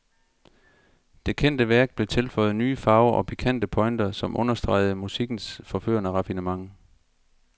Det kendte værk blev tilføjet nye farver og pikante pointer, som understregede musikkens forførende raffinement.